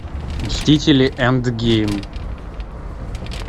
мстители энд гейм